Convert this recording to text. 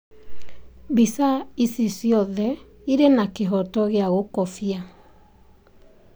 Mbica icio ciothe irĩ na kĩhooto gĩa gũkobia.